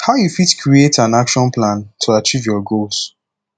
how you fit create an action plan to achieve your goals